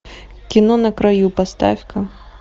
кино на краю поставь ка